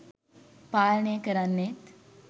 පාලනය කරන්නේත්